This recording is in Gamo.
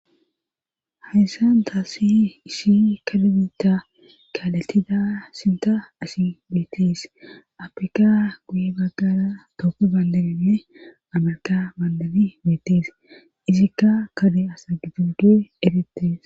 hayssanta si ishi kadbitta kaalatida sinta asi beettees apika guye baggara tooko bandabine amarka baandani beettees izikka kade asa gidoys erettees